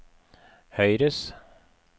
høyres